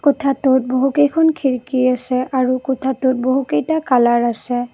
কোঠাটোত বহুকেইখন খিৰিকী আছে আৰু কোঠাটোত বহুকেইটা কালাৰ আছে।